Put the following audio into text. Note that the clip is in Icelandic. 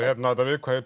þetta viðkvæði